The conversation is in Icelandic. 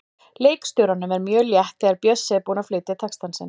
Leikstjóranum er mjög létt þegar Bjössi er búinn að flytja texta sinn.